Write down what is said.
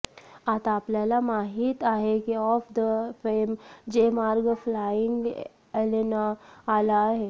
आता आपल्याला माहित आहे की ऑफ द फेम जे मार्ग फ्लाइंग एलेना आला आहे